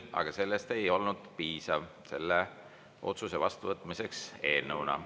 Aga sellest ei olnud piisav selle otsuse vastuvõtmiseks eelnõuna.